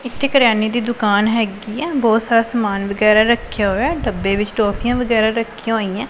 ਇੱਥੇ ਕਰਿਆਨੇ ਦੀ ਦੁਕਾਨ ਹੈਗੀ ਆ ਬਹੁਤ ਸਾਰਾ ਸਮਾਨ ਵਗੈਰਾ ਰੱਖਿਆ ਹੋਇਆ ਡੱਬੇ ਵਿੱਚ ਟੋਫੀਆਂ ਵਗੈਰਾ ਰੱਖੀਆਂ ਹੋਈਆਂ।